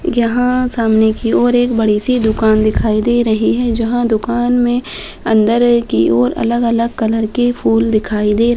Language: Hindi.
यह सामने की ओर एक बड़ी सी दुकान दिखाई दे रही है। जहाँ दुकान में अंदर है की ओर अलग-अलग कलर के फूल दिखाई दे --